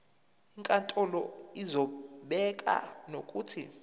inkantolo izobeka nokuthi